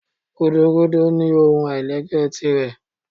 Gúdúgúdú nì ohún ailẹ́gbẹ tirẹ